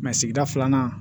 sigida filanan